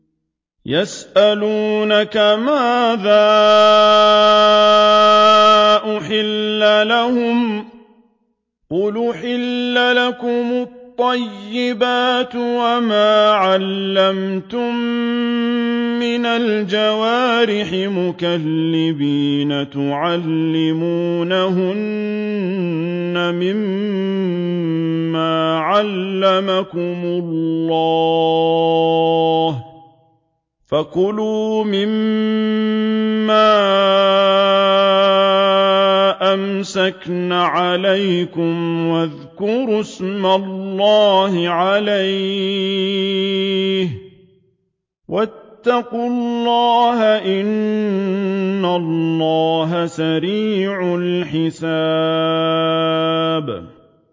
يَسْأَلُونَكَ مَاذَا أُحِلَّ لَهُمْ ۖ قُلْ أُحِلَّ لَكُمُ الطَّيِّبَاتُ ۙ وَمَا عَلَّمْتُم مِّنَ الْجَوَارِحِ مُكَلِّبِينَ تُعَلِّمُونَهُنَّ مِمَّا عَلَّمَكُمُ اللَّهُ ۖ فَكُلُوا مِمَّا أَمْسَكْنَ عَلَيْكُمْ وَاذْكُرُوا اسْمَ اللَّهِ عَلَيْهِ ۖ وَاتَّقُوا اللَّهَ ۚ إِنَّ اللَّهَ سَرِيعُ الْحِسَابِ